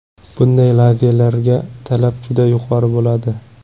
Bunday lazelarga talab juda yuqori bo‘ladi.